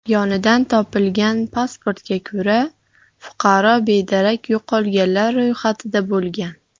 Yonidan topilgan pasportga ko‘ra, fuqaro bedarak yo‘qolganlar ro‘yxatida bo‘lgan.